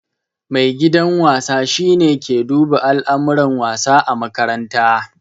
Maigidan wasa shi ne ke duba alamuran wasa ã makaranta.